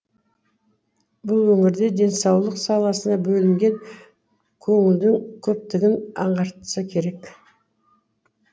бұл өңірде денсаулық саласына бөлінген көңілдін көптігін аңғартса керек